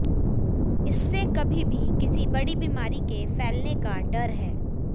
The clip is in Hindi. इससे कभी भी किसी बड़ी बीमारी के फैलने का डर है